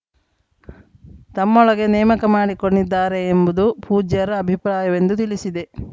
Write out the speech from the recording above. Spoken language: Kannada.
ತಮ್ಮೊಳಗೆ ನೇಮಕ ಮಾಡಿಕೊಂಡಿದ್ದಾರೆ ಎಂಬುದು ಪೂಜ್ಯರ ಅಭಿಪ್ರಾಯವೆಂದು ತಿಳಿಸಿದೆ